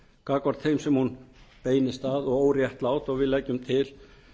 gagnvart þeim sem hún beinist að og óréttlát og við leggjum til